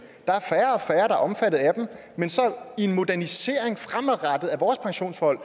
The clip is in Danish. er omfattet af dem men i en modernisering af vores pensionsforhold